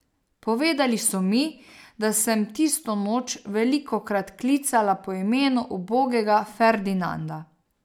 Povedali so mi, da sem tisto noč velikokrat klicala po imenu ubogega Ferdinanda.